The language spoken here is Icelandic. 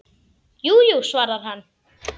Jú, jú, svarar hann.